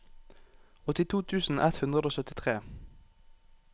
åttito tusen ett hundre og syttitre